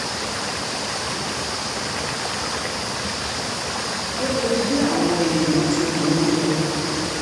ó le ju bí àwọn èèyàn ti rò ó lọ